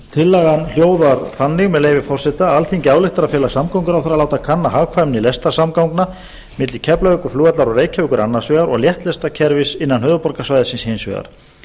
tillagan hljóðar þannig með leyfi forseta alþingi ályktar að fela samgönguráðherra að láta kanna hagkvæmni lestarsamgangna milli keflavíkurflugvallar og reykjavíkur annars vegar og léttlestakerfis innan höfuðborgarsvæðisins hins vegar